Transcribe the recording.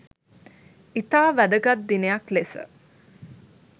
ඉතා වැදගත් දිනයක් ලෙස